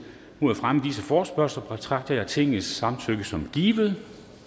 mod at fremme disse forespørgsler betragter jeg tingets samtykke som givet